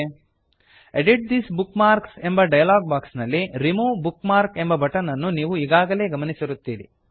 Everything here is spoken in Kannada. edit this bookmarks edit this bookmark ಎಂಬ ಡಯಲಾಗ್ ಬಾಕ್ಸ್ ನಲ್ಲಿ remove bookmark remove bookmark ಎಂಬ ಬಟನ್ ನನ್ನು ನೀವು ಈಗಾಗಲೇ ಗಮನಿಸಿರುತ್ತೀರಿ